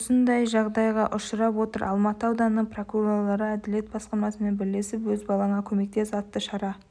осындай жағдайға ұшырап отыр алматы ауданының прокурорлары әділет басқармасымен бірлесіп өз балаңа көмектес атты шара